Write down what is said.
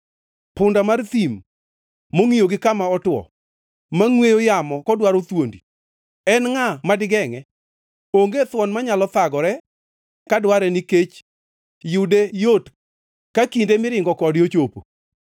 punda mar thim mongʼiyo gi kama otwo, ma ngʼweyo yamo kodwaro thuondi; en ngʼa madigengʼe? Onge thuon manyalo thagore ka dware nikech yude yot ka kinde miringo kode ochopo.